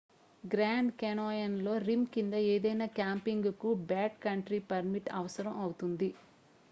grand Canyon లో rim కింద ఏదైనా క్యాంపింగ్ కు బ్యాక్ కంట్రీ పర్మిట్ అవసరం అవుతుంది